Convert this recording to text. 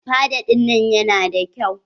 Fada ɗinnan ya na da kyau.